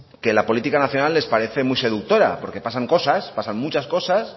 que la política nacional les parece muy seductora porque pasan cosas pasan muchas cosas